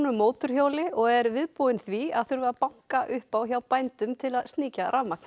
mótorhjóli og er viðbúinn því að þurfa að banka upp á hjá bændum til að sníkja rafmagn